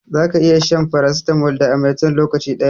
Za ka iya shan farasitamol da amatem lokaci daya